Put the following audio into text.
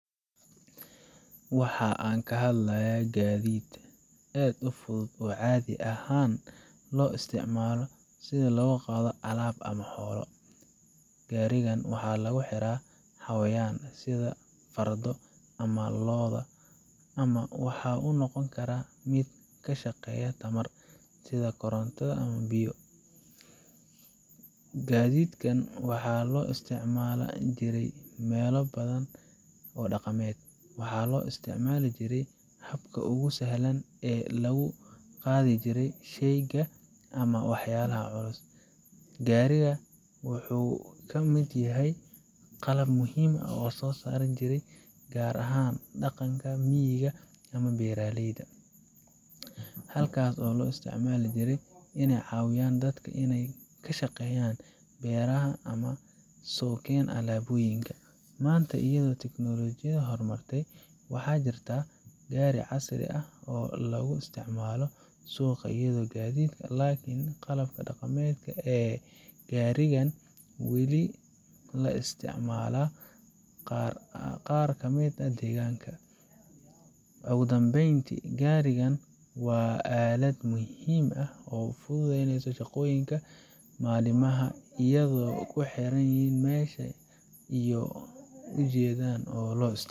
waxa aan ka hadlaynaa gaadiid aad u fudud oo caadi ahaan loo isticmaalo in lagu qaado alaab ama xoolo. Gaarigan waxaa lagu xiraa xayawaan sida fardo ama lo'aad, ama waxa uu noqon karaa mid ka shaqeeya tamar, sida koronto ama biyo. gadidkan waxaa loo isticmaali jiray meelo badan oo dhaqameed, waxaana loo isticmaali jiray habka ugu sahlan ee lagu qaadi jiray sheyga ama walxaha culus. Gaariga wuxuu ka mid ahaa qalab muhiim ah oo soo jireen ah, gaar ahaan dhaqanka miyiga ah ama beeralayda, halkaas oo loo isticmaali jiray inay ka caawiyaan dadka inay ka shaqeeyaan beeraha ama ay sookeen alaabooyinka. Maanta, iyadoo tiknoolajiyadu horumartay, waxaa jitra gaari casri ah oo lagu isticmaalo suuqa iyo gaadiidka, laakiin qaabka dhaqameed ee garigan weli la isticmaalaa qaar ka mid ah deegaanada. ugudhambeynti, garigan waa aalad muhiim ah oo fududeysa shaqooyinka maalinlaha ah, iyadoo ku xiran meesha iyo ujeedanloo isticmalo.